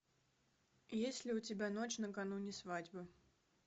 есть ли у тебя ночь накануне свадьбы